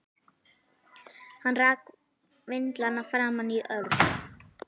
Hann rak vindlana framan í Örn.